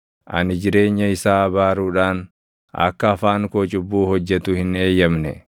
ani jireenya isaa abaaruudhaan akka afaan koo cubbuu hojjetu hin eeyyamne.